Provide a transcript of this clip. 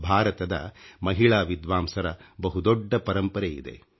ಭಾರತದ ಮಹಿಳಾ ವಿದ್ವಾಂಸರ ಬಹು ದೊಡ್ಡ ಪರಂಪರೆಯಿದೆ